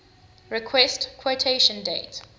request quotation date